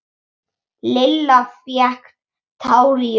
Lilla fékk tár í augun.